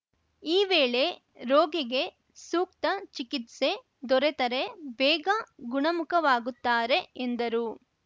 ಈ ವೇಳೆ ರೋಗಿಗೆ ಸೂಕ್ತ ಚಿಕಿತ್ಸೆ ದೊರೆತರೆ ಬೇಗ ಗುಣಮುಖವಾಗುತ್ತಾರೆ ಎಂದರು